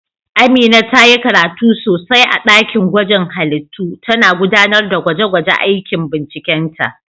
Amina ta yi karatu sosai a dakin gwaje-gwajen halittu, tana gudanar da gwaje-gwajen aikin bincikenta.